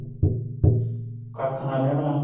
ਕੱਖ਼ ਨਾ ਰਹਿਣਾ